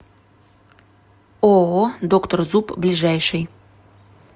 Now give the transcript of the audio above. ооо доктор зуб ближайший